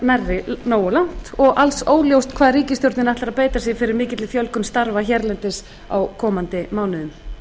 nærri nógu langt og alls óljóst hvað ríkisstjórnin ætlar að beita sér fyrir mikilli fjölgun starfa hérlendis á komandi mánuðum